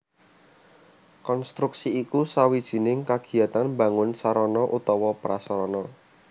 Konstruksi iku sawijining kagiatan mbangun sarana utawa prasarana